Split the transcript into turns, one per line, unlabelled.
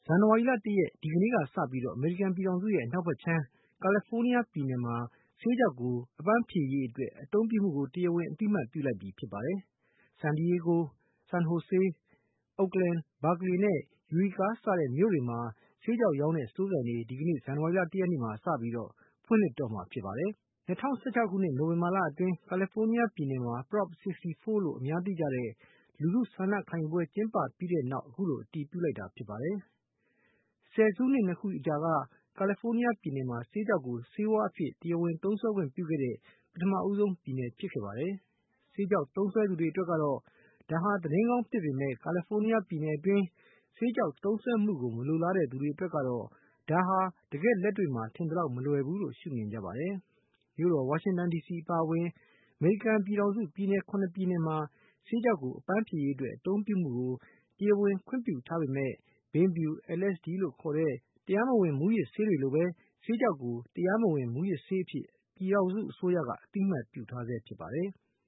ဇန်နဝါရီလ ၁ ရက် ဒီကနေ့က စပြီးတော့ အမေရိကန်ပြည်ထောင်စုရဲ့ အနောက်ဘက်ခြမ်း ကယ်ဖိုးနီးယား ပြည်နယ်ဟာ ဆေးခြောက်ကို အပန်းဖြေရေးအတွက် အသုံးပြုမှုကို တရားဝင် အသိအမှတ်ပြုလိုက်ပြီဖြစ်ပါတယ်။ San Diego, San Jose, Oakland, Berkeley နဲ့ Eureka အစရှိတဲ့မြို့တွေမှာ ဆေးခြောက်ရောင်းတဲ့ စတိုးဆိုင်တွေ ဒီကနေ့ ဇန်နဝါရီလ ၁ ရက်နေ့ကနေစပြီးတော့ ဖွင့်လှစ်တော့မှာဖြစ်ပါတယ်။ ၂၀၁၆ ခုနှစ် နိုဝင်ဘာလအတွင်း ကယ်လီဖိုးနီးယား ပြည်နယ်မှာ Prop 64 လို့ အများသိကြတဲ့ လူထုဆန္ဒခံယူပွဲ ကျင်းပပြီးတဲ့နောက် အခုလို အတည်ပြုလိုက်တာ ဖြစ်ပါတယ်။ ဒါဟာ ဆယ်စုနှစ် နှစ်ခုအကြာမှာ ကယ်လီဖိုးနီးယားပြည်နယ်ဟာ ဆေးခြောက်ကို ဆေးဝါးအဖြစ်နဲ့ တရားဝင် သုံးစွဲခွင့်ပြုခဲ့တဲ့ ပထမဦးဆုံးပြည်နယ် လည်းဖြစ်ခဲ့ပါတယ်။ ဆေးခြောက်သုံးစွဲသူတွေအတွက်ကတော့ ဒါဟာ သတင်းကောင်းဖြစ်ပေမယ့်လည်း ကယ်လီဖိုးနီးယားပြည်နယ်အတွင်း ဆေးခြောက်သုံးစွဲမှုကို မလိုလားတဲ့သူတွေ အတွက်ကတော့ ဒါဟာ တကယ့်လက်တွေ့မှာ ထင်သလောက်မလွယ်ဘူးလို့ ရှုမြင်ကြပါတယ်။ မြို့တော် ဝါရှင်တန် ဒီစီအပါအဝင် အမေရိကန်ပြည်ထောင်စုအတွင်း ပြည်နယ် ၇ နှစ်ပြည်နယ်မှာ ဆေးခြောက်ကို အပန်းဖြေရေးအတွက် အသုံးပြုမှုကို တရားဝင်ခွင့်ပြုထားပေမယ့် ဘိန်းဖြူနဲ့ LSD လို့ခေါ်တဲ့ တရားမဝင် မူးယစ်ဆေးတွေလိုပဲ ဆေးခြောက်ကို တရားမဝင်မူးယစ်ဆေးအဖြစ် ပြည်ထောင်စု အစိုးရက သတ်မှတ်ထားဆဲဖြစ်ပါတယ်။